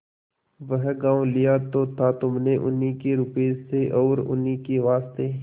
वह गॉँव लिया तो था तुमने उन्हीं के रुपये से और उन्हीं के वास्ते